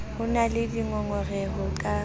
ho na le dingongoreho ka